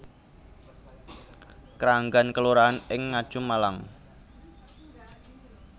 Kranggan kelurahan ing Ngajum Malang